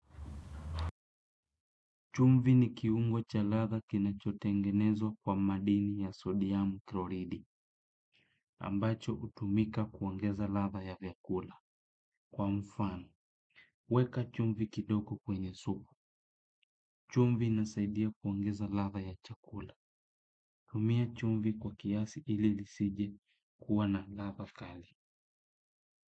Chumvi ni kiungo cha ladha kinachotengenezwa kwa madini ya sodiam kloridi ambacho hutumika kuongeza ladha ya vyakula. Kwa mfano, weka chumvi kidogo kwenye supu. Chumvi inasaidia kuongeza ladha ya chakula. Hutumia chumvi kwa kiasi ili isije kuwa na ladha kali.